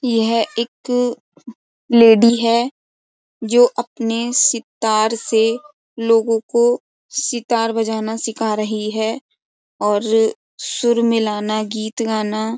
यह एक लेडी है जो अपने सितार से लोगों को सितार बजाना सिखा रही है और सुर मिलाना गीत गाना।